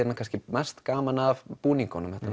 kannski mest gaman af búningunum þetta